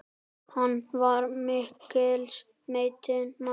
Hann var mikils metinn maður.